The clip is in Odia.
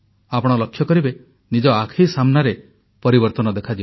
ଆପଣ ଲକ୍ଷ୍ୟ କରିବେ ନିଜ ଆଖି ସାମ୍ନାରେ ପରିବର୍ତନ ଦେଖାଯିବ